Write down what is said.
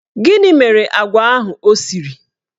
Gịnị mere agwa ahụ ọ siri?